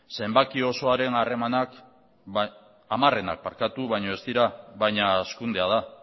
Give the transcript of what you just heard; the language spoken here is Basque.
zenbaki osoaren hamarrenak baina ez dira baina hazkundea da